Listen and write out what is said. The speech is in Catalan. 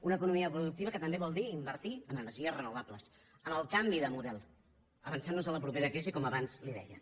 una economia productiva que també vol dir invertir en energies renovables en el canvi de model avançant nos a la propera crisi com abans li deia